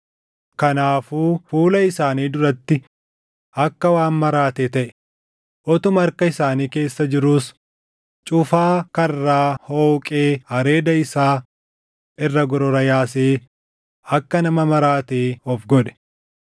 Kanaafuu fuula isaanii duratti akka waan maraatee taʼe; utuma harka isaanii keessa jiruus cufaa karraa hooqee areeda isaa irra gorora yaasee akka nama maraatee of godhe.